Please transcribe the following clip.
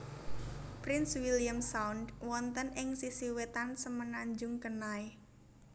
Prince William Sound wonten ing sisi wetan Semenanjung Kenai